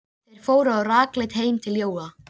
Þeir fóru rakleitt heim til Jóa.